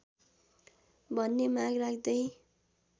भन्ने माग राख्दै